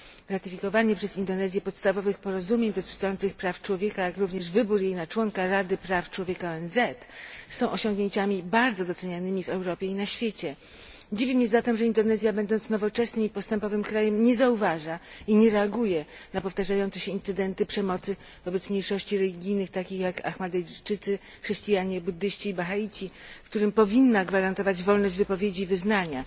Ratyfikowanie przez Indonezję podstawowych porozumień dotyczących praw człowieka, jak również wybór jej na członka Rady Praw Człowieka ONZ są osiągnięciami bardzo docenianymi w Europie i na świecie. Dziwi mnie zatem, że Indonezja, będąc nowoczesnym i postępowym krajem, nie zauważa i nie reaguje na powtarzające się incydenty przemocy wobec mniejszości religijnych takich jak ahmadyjczycy, chrześcijanie, buddyści i bahaici, którym powinna gwarantować wolność wypowiedzi i wyznania.